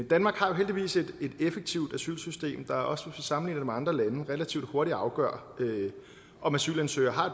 danmark har jo heldigvis et effektivt asylsystem der også hvis sammenligner det med andre landes relativt hurtigt afgør om asylansøgere har